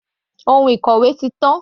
Ohun ìkòwé ti tán.